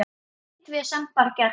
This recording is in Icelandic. Ekkert vesen, bara gert.